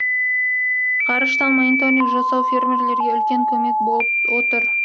ғарыштан мониторинг жасау фермерлерге үлкен көмек болып отыр